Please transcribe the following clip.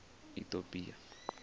itopia